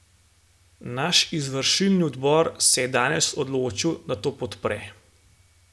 Naš izvršilni odbor se je danes odločil, da to podpre.